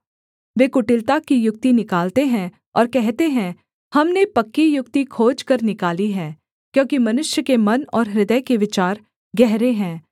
वे कुटिलता की युक्ति निकालते हैं और कहते हैं हमने पक्की युक्ति खोजकर निकाली है क्योंकि मनुष्य के मन और हृदय के विचार गहरे है